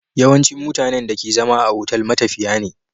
Yawancin mutanen da ke zama a otal matafiya ne